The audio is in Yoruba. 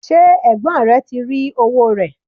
ṣé ẹ̀gbọ́n rẹ ti rí owó rẹ̀?